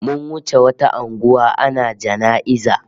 Mun wuce wata unguwa ana jana'iza